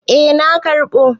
Eh na karɓo.